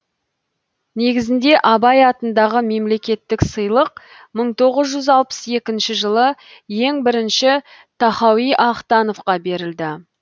негізінде абай атындағы мемлекеттік сыйлық мың тоғыз алпыс екінші жылы ең бірінші тахауи ахтановқа берілді